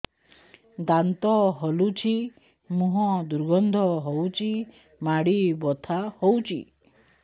ଦାନ୍ତ ହଲୁଛି ମୁହଁ ଦୁର୍ଗନ୍ଧ ହଉଚି ମାଢି ବଥା ହଉଚି